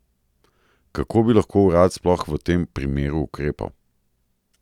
Kako bi lahko urad sploh v tem primeru ukrepal?